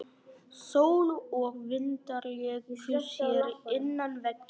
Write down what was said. Sól og vindar léku sér innan veggja.